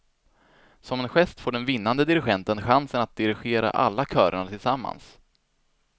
Som en gest får den vinnande dirigenten chansen att dirigera alla körerna tillsammans.